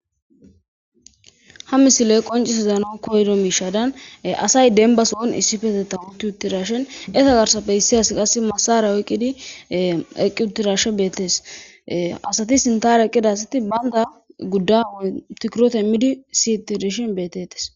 Ha misiley qoncis zanon koydo miishadan asay denbas oon issifeteta tuutirashen esa garsappe hissias qas masare oyqqidi equtirashe beettes asati sintara eqqida asati baynda gudda oy tikirotemmidi siyitidishin beetetes.